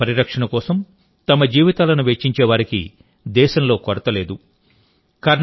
పర్యావరణ పరిరక్షణ కోసం తమ జీవితాలను వెచ్చించే వారికి దేశంలో కొరత లేదు